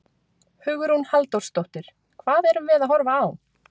Hugrún Halldórsdóttir: Hvað erum við að horfa á?